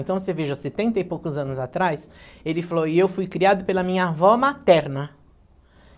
Então, você veja, setenta e poucos anos atrás, ele falou, e eu fui criado pela minha avó materna.